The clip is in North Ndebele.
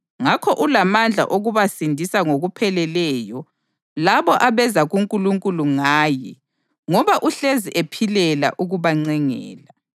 Ngakho ulamandla okubasindisa ngokupheleleyo labo abeza kuNkulunkulu ngaye ngoba uhlezi ephilela ukubancengela.